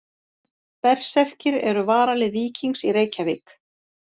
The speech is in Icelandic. Berserkir eru varalið Víkings í Reykjavík.